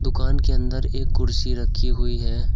दुकान के अंदर एक कुर्सी रखी हुई है।